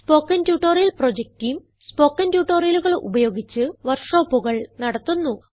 spoken tutorial project team spoken ട്യൂട്ടോറിയലുകൾ ഉപയോഗിച്ച് വർക്ക് ഷോപ്പുകൾ നടത്തുന്നു